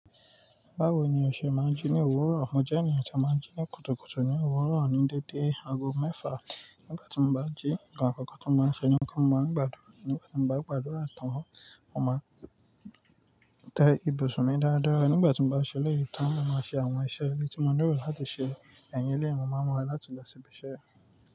Báwo ni ọṣẹ máa ń jí ní òwúrọ̀? Mo jẹ́ ènìyàn tí a máa ń jí ní kùtùkùtù ní òwúrọ̀ ní dédé aago mẹ́fà. Nígbà tí mo bá jí, ǹkan àkọ́kọ́ tí mo máa ń ṣe ni pé mo máa ń gbàdúrà. Nígbà tí mo bá gbàdúrà tán, mo máa tẹ ibùsùn mi dáadáa. Nígbà tí mo bá ṣẹlẹ̀ yìí tán, mo máa ṣe àwọn iṣẹ́ èlé tí mo lero láti ṣe. Ẹ̀yin lé ènìyàn máa mọ̀ ọ́n láti lọ síbi iṣẹ́ rẹ̀.